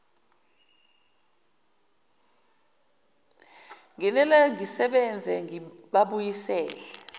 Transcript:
nginele ngisebenze ngibabuyisele